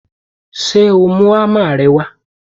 Ṣé o mú ámà rẹ wá?